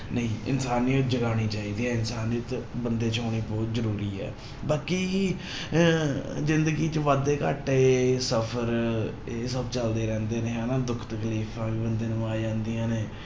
ਨਹੀਂ ਇਨਸਾਨੀਅਤ ਜਗਾਉਣੀ ਚਾਹੀਦੀ ਹੈ, ਇਨਸਾਨੀਅਤ ਬੰਦੇ ਚ ਹੋਣੀ ਬਹੁਤ ਜ਼ਰੂਰੀ ਹੈ, ਬਾਕੀ ਅਹ ਜ਼ਿੰਦਗੀ ਚ ਵਾਧੇ ਘਾਟੇ, ਸਫ਼ਰ ਇਹ ਸਭ ਚੱਲਦੇ ਰਹਿੰਦੇ ਨੇ ਹਨਾ ਦੁੱਖ ਤਕਲੀਫ਼ਾਂ ਵੀ ਬੰਦੇ ਨੂੰ ਆ ਜਾਂਦੀਆਂ ਨੇ।